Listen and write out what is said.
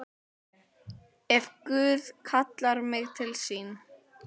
Ef Guð kallar mig til sín.